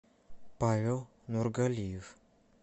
павел нургалиев